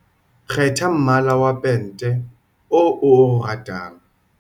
kgetha mmala wa pente oo, o ratang.